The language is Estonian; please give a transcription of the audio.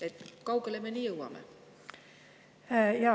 Kui kaugele me nii jõuame?